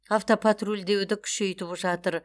автопатрульдеуді күшейтіп жатыр